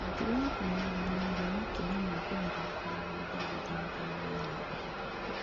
Mĩtugo ya kũmenyerera mũhĩa Makinya ma kũharĩrĩria mũgũnda ihindainĩ rĩa meharĩrĩria